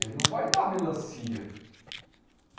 Ele não vai dar melancia.